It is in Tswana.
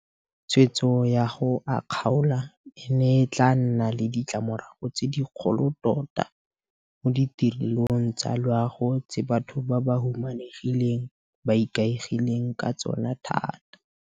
Tshwetso ya go a kgaola e ne e tla nna le ditlamorago tse dikgolo tota mo ditirelong tsa loago tse batho ba ba humanegileng ba ikaegileng ka tsona thata.